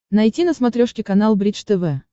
найти на смотрешке канал бридж тв